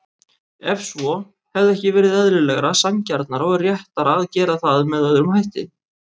Ef svo, hefði ekki verið eðlilegra, sanngjarnara og réttara að gera það með öðrum hætti?